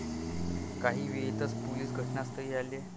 काही वेळातच पोलीस घटनास्थळी आले.